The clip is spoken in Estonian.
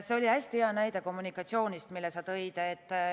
See oli hästi hea näide kommunikatsioonist, mille sa tõid.